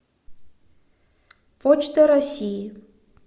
почта россии